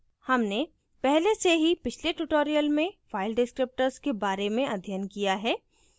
हमने पहले से ही पिछले tutorial में file descriptors के बारे में अध्ययन किया है